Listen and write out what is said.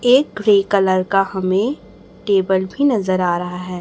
एक grey colour का हमें टेबल भी नजर आ रहा है।